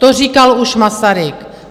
To říkal už Masaryk.